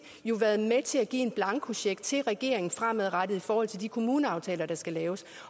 jo været med til at give en blankocheck til regeringen fremadrettet i forhold til de kommuneaftaler der skal laves